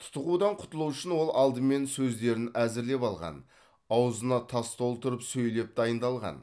тұтығудан құтылу үшін ол алдымен сөздерін әзірлеп алған аузына тас толтырып сөйлеп дайындалған